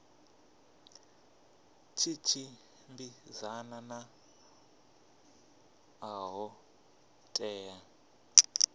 tshi tshimbidzana na ṱho ḓea